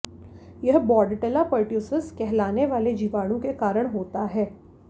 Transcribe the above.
यह Bordetella pertussis कहलाने वाले जीवाणु के कारण होता है